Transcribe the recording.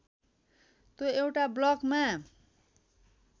त्यो एउटा ब्लकमा